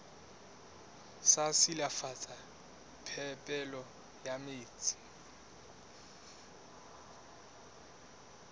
sa silafatsa phepelo ya metsi